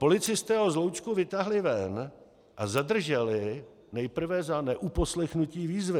Policisté ho z hloučku vytáhli ven a zadrželi nejprve za neuposlechnutí výzvy.